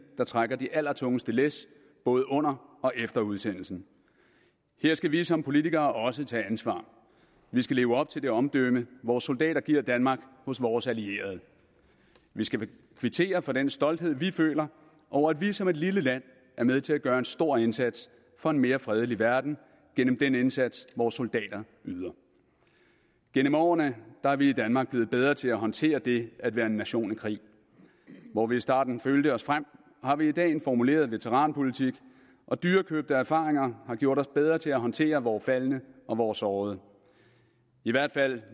der trækker det allertungeste læs både under og efter udsendelsen her skal vi som politikere også tage ansvar vi skal leve op til det omdømme vores soldater giver danmark hos vores allierede vi skal kvittere for den stolthed vi føler over at vi som et lille land er med til at gøre en stor indsats for en mere fredelig verden gennem den indsats vores soldater yder gennem årene er vi i danmark blevet bedre til at håndtere det at være en nation i krig hvor vi i starten følte os frem har vi i dag en formuleret veteranpolitik og dyrekøbte erfaringer har gjort os bedre til at håndtere vore faldne og vore sårede i hvert fald